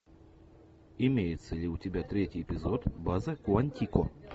имеется ли у тебя третий эпизод база куантико